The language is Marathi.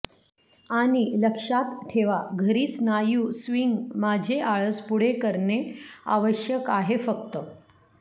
आणि लक्षात ठेवा घरी स्नायू स्विंग माझे आळस पुढे करणे आवश्यक आहे फक्त